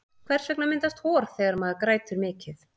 hvers vegna myndast hor þegar maður grætur mikið